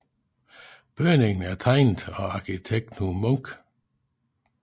Bygningen er tegnet af arkitekt Knud Munk